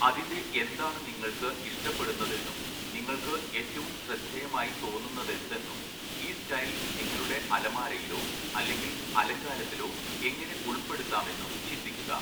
അതിൻ്റെ എന്താണ് നിങ്ങൾക്ക് ഇഷ്ടപ്പെടുന്നതെന്നും നിങ്ങൾക്ക് ഏറ്റവും ശ്രദ്ധേയമായി തോന്നുന്നതെന്തെന്നും ഈ സ്റ്റൈൽ നിങ്ങളുടെ അലമാരയിലോ അല്ലെങ്കിൽ അലങ്കാരത്തിലോ എങ്ങനെ ഉൾപ്പെടുത്താമെന്നും ചിന്തിക്കുക.